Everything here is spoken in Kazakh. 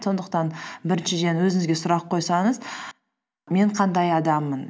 сондықтан біріншіден өзіңізге сұрақ қойсаңыз мен қандай адаммын